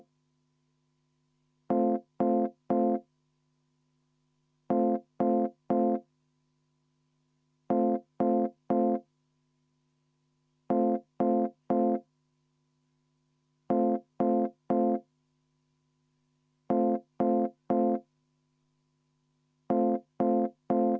Vaheaeg kümme minutit.